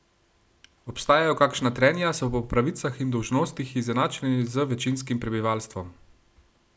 Obstajajo kakšna trenja, so po pravicah in dolžnostih izenačeni z večinskim prebivalstvom?